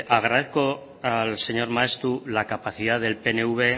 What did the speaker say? agradezco al señor maeztu la capacidad del pnv